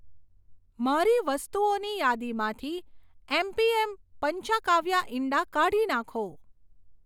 મારી વસ્તુઓની યાદીમાંથી એમપીએમ પંચાંકાવ્યા ઇંડા કાઢી નાંખો.